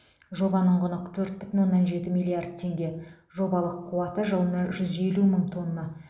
жобаның құны төрт бүтін оннан жеті миллиард теңге жобалық қуаты жылына жүз елу мың тонна